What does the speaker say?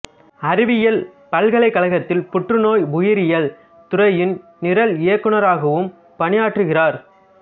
அறிவியல் பல்கலைக்கழத்தில் புற்றுநோய் உயிரியல் துறையின் நிரல் இயக்குனராகவும் பணியாற்றுகிறார்